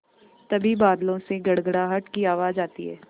तभी बादलों से गड़गड़ाहट की आवाज़ आती है